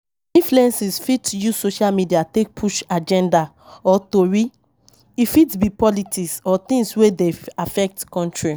Influences fit use social media take push agenda or tori, e fit be politics or things wey dey affect country